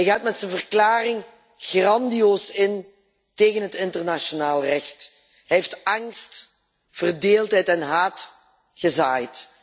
Hij gaat met zijn verklaring grandioos in tegen het internationaal recht. Hij heeft angst, verdeeldheid en haat gezaaid.